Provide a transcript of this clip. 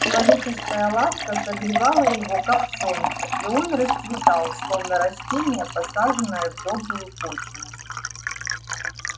человеческая ласка согревала его как солнце и он расцветал словно растение посаженное в добрую почву